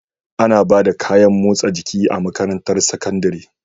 Ana Bada kayan motsa jiki a makarantar sakandari